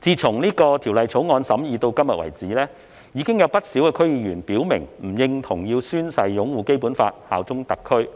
自《條例草案》審議至今，已有不少區議員表明不認同要宣誓擁護《基本法》、效忠特區，